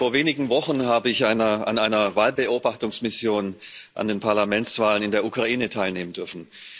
Vor wenigen Wochen habe ich an einer Wahlbeobachtungsmission zu den Parlamentswahlen in der Ukraine teilnehmen dürfen.